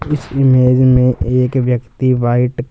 इस इमेज में एक व्यक्ति व्हाइट --